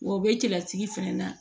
Wa u bɛ cɛlasigi fɛnɛ na